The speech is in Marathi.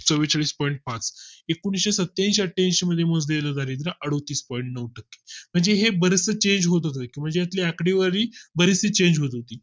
चव्वेचाळीस point पाच एकोणऐंशी सत्त्याऐंशी अठ्ठ्याऐंशी मध्ये मोजले ला दारिद्य अडतीस point नऊ टक्के म्हणजे हे बरेचसे Change होतात म्हणजे येथील आकडेवारी बरीच Change होत होती